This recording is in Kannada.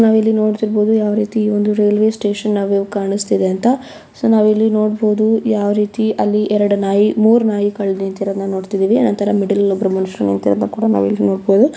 ನಾವಿಲ್ಲಿ ನೋಡುತ್ತಿರಬಹುದು ಯಾವ ರೀತಿ ಒಂದು ರೈಲ್ವೆ ಸ್ಟೇಷನ್ ನಮಗೆ ಕಾಣಿಸಿತ್ತಿದೆ ಅಂತ ಸೋ ನಾವಿಲ್ಲಿ ನೋಡ್ಬೋದು ಯಾವ ರೀತಿ ಅಲ್ಲಿ ಎರಡು ನಾಯಿ ಮೂರು ನಾಯಿಗಳು ನಿಂತಿರುವುದನ್ನು ನೋಡುತ್ತಿದ್ದೇವೆ ಆತರ ಮಿಡಲ್ ಲ್ಲಿ ಒಬ್ಬ ಮನುಷ್ಯರು ನಿಂತಿರುವುದನ್ನು ಕೂಡಾ ನಾವಿಲ್ಲಿ ನೋಡ್ಬೋದು.